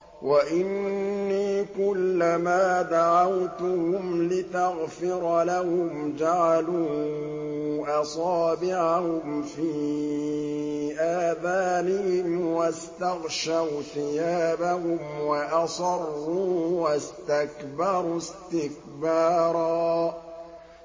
وَإِنِّي كُلَّمَا دَعَوْتُهُمْ لِتَغْفِرَ لَهُمْ جَعَلُوا أَصَابِعَهُمْ فِي آذَانِهِمْ وَاسْتَغْشَوْا ثِيَابَهُمْ وَأَصَرُّوا وَاسْتَكْبَرُوا اسْتِكْبَارًا